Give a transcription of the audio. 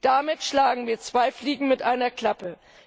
Damit schlagen wir zwei Fliegen mit einer Klappe.